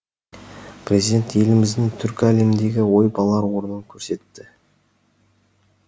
президент еліміздің түркі әлеміндегі ойып олар орнын көрсетті